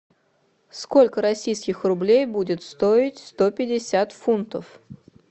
сколько российских рублей будет стоить сто пятьдесят фунтов